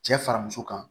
Cɛ fara muso kan